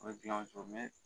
A be gilan o co mɛn